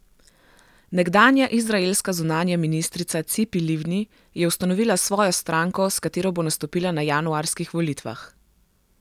Nekdanja izraelska zunanja ministrica Cipi Livni je ustanovila svojo stranko, s katero bo nastopila na januarskih volitvah.